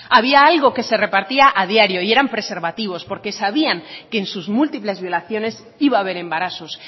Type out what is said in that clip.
había algo que se repartía a diario y eran preservativos porque sabían que en sus múltiples violaciones iba a ver embarazos